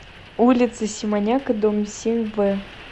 улица симоняка дом семь в